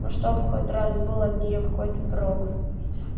ну чтоб хоть раз был от нее какой-то прок